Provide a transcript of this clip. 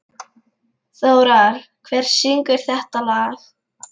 Þórar, hver syngur þetta lag?